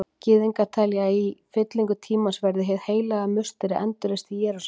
Gyðingar telja að í fyllingu tímans verði Hið heilaga musteri endurreist í Jerúsalem.